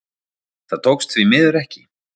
Það tókst því miður ekki